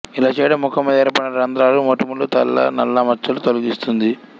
ఇలా చేయడం ముఖం మీద ఏర్పడిన రంద్రాలుమొటిమలుతెల్ల నల్ల మచ్చలను తొలగిస్తుంది